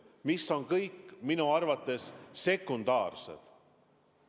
Ent need on kõik minu arvates sekundaarsed.